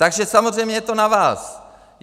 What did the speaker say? Takže samozřejmě je to na vás.